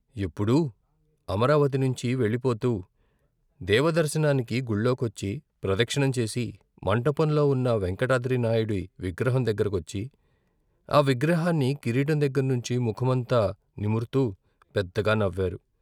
ఎప్పుడూ అమరావతి నుంచి వెళ్ళిపోతూ దేవదర్శనానికి గుళ్ళోకొచ్చి, ప్రదక్షిణం చేసి మంటపంలో ఉన్న వేంకటాద్రినాయుడి విగ్రహం దగ్గర కొచ్చి, ఆ విగ్రహాన్ని కిరీటం దగ్గర్నించి ముఖమంతా నిముర్తూ పెద్దగా నవ్వారు.